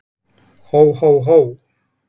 Hó, hó, hó!